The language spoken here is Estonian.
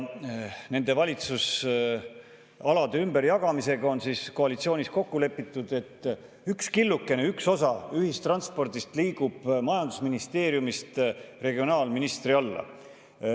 Nende valitsusalade ümberjagamisel on koalitsioonis kokku lepitud, et üks killukene, üks osa ühistranspordi liigub majandusministeeriumist regionaalministeeriumi alla.